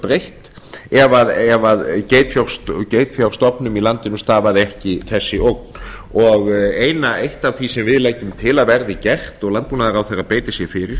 breytt ef geitfjárstofnum í landinu stafaði ekki þessi ógn og eitt af því sem við leggjum til að verði gert og landbúnaðaráðherra beiti sér fyrir